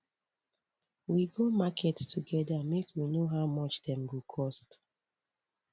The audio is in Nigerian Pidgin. we go market togeda make we know how much dem go cost